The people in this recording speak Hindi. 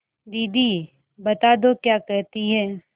दीदी बता दो क्या कहती हैं